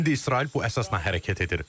İndi İsrail bu əsasda hərəkət edir.